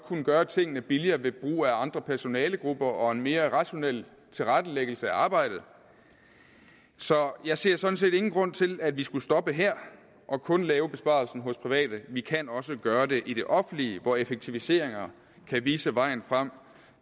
gøre tingene billigere ved brug af andre personalegrupper og en mere rationel tilrettelæggelse af arbejdet så jeg ser sådan set ingen grund til at vi skal stoppe her og kun lave besparelsen private vi kan også gøre det i det offentlige hvor effektiviseringer kan vise vejen frem